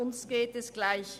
Uns geht es gleich.